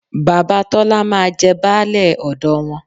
Bàbá Tọ́lá máa jẹ baálẹ̀ ọ̀dọ wọn